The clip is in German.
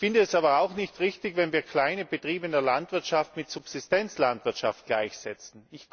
Es ist aber auch nicht richtig, wenn wir kleine Betriebe in der Landwirtschaft mit Subsistenzlandwirtschaft gleichsetzen.